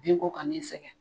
Binko ka n'i sɛgɛn